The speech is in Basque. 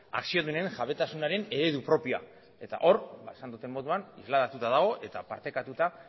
akziodunen jabetasunaren eredu propioa eta hor esan dudan moduan isladatuta dago eta partekatuta